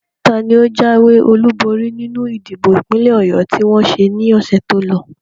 Taani o jáwé olúborí nínú ìdìbò ìpínlẹ̀ Ọ̀yọ tí wọ́n ṣe ní ọ̀sẹ̀ tí o lọ?